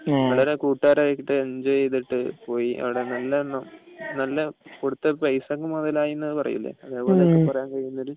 നമ്മളെ കൂട്ടുകാരായിട്ടു എന്ജോയ് ചെയ്തിട്ട് പോയി അവിടെ നല്ല കൊടുത്ത പൈസ അങ്ങ് മുതലായി എന്നാണ് പറഞ്ഞത്